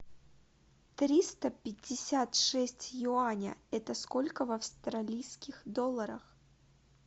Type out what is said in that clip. триста пятьдесят шесть юаня это сколько в австралийских долларах